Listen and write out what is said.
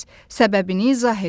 Səbəbini izah edin.